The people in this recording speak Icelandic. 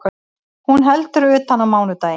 Hún heldur utan á mánudaginn